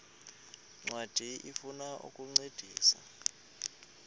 ncwadi ifuna ukukuncedisa